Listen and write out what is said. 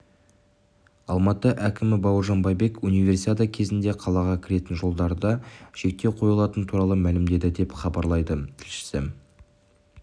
алматы әкімі бауыржан байбек универсиада кезінде қалаға кіретін жолдарда шектеу қойылатыны туралы мәлімдеді деп хабарлайды тілшісі